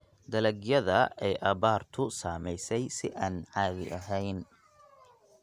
Dalagyada ay abaartu saamaysay si aan caadi ahayn.